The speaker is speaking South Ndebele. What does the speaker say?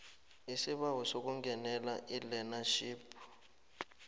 isibawo sokungenela ilearnership